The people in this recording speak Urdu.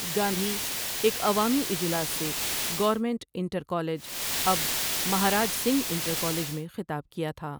گاندھی ایک عوامی اجلاس سے گورنمینٹ انٹر کالج اب مہاراج سنگھ انٹر کالج میں خطاب کیا تھا ۔